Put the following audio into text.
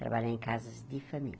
Trabalhei em casas de família.